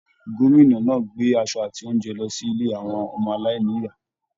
Gómìnà náà gbé aṣọ àti oúnjẹ lọ sí ilé àwọn ọmọ-aláìní-ìyá.